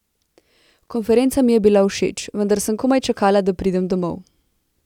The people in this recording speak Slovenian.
Konferenca mi je bila všeč, vendar sem komaj čakala, da pridem domov.